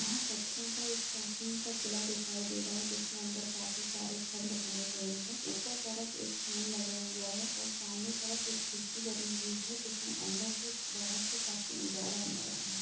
यहाँ पत्थरों का एक प्राचीन सा किला दिखाई दे रहा है जिसमें अंदर काफी सारे खंड बने हुए हैं ऊपर तरफ एक फैन लगा हुआ है और सामने तरफ एक खिड़की बनी हुई है जिसमें अंदर से बाहर से काफी उजाला अंदर आ रहा है।